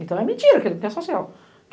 Então é mentira que ele quer social.